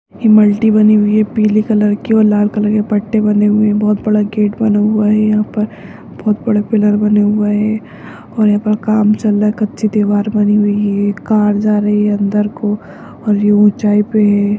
बनी हुई है पीले कलर की और लाल कलर के पट्टे बने हुए हैं बहोत बड़ा गेट बना हुआ है यहाँ पर बहोत बड़े पिल्लर बने हुए हैं और यहाँ पर काम चल रहा है कच्ची दीवार बनी हुई है एक कार जा रही है अंदर को और ये ऊंचाई पे है।